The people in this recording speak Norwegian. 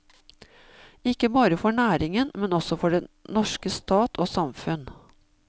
Ikke bare for næringen, men også for den norske stat og samfunn.